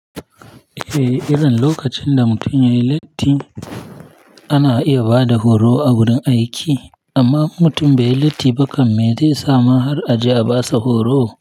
Eh, irin lokacin da mutum yayi latti ana iya bada horo a wurin aiki. Amma mutum bai yi latti ba kam me zai sa mu har aje a basa horo?